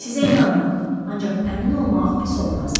Sizə inanıram, ancaq əmin olmaq pis olmazdı.